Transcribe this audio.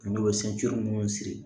N'o ye munnu siri